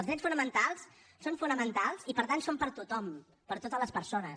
els drets fonamentals són fonamentals i per tant són per a tothom per a totes les persones